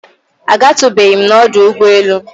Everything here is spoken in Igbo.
A gatụbeghịm nọdụ ụgbọ elu.